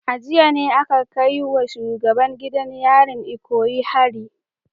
A jiya ne aka kai wa shugaban gidan yarin Ikoyi hari